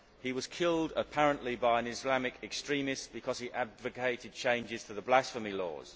He was killed, apparently, by an Islamic extremist because he advocated changes to the blasphemy law.